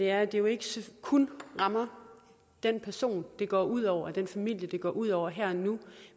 er at det jo ikke kun rammer den person det går ud over den familie det går ud over her og nu